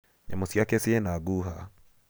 Nyamũ ciake ciĩna ngũha.